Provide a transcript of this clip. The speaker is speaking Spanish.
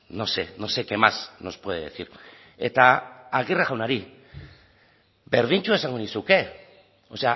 no sé no sé qué más nos puede decir eta aguirre jaunari berdintsua esango nizuke o